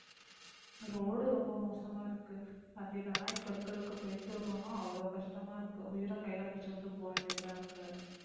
road ரொம்ப மோசமா இருக்கு. வண்டியில எல்லாம் இப்ப இருக்கறதுக்கு போயிட்டு வரணும்னா அவ்வளவு கஷ்டமா இருக்கு உயிரை கையில பிடிச்சுக்கிட்டு போக வேண்டியதா இருக்கு.